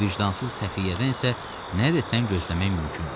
Bu vicdansız xəfiyyədən isə nə desən gözləmək mümkündür.